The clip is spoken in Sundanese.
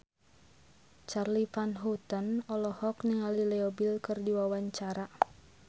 Charly Van Houten olohok ningali Leo Bill keur diwawancara